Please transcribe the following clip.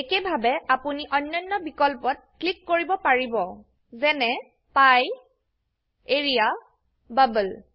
একেইভাবে আপোনিঅন্যান্য বিকল্পত ক্লিক কৰিব পাৰিব যেনে পিএ এৰিয়া বাবল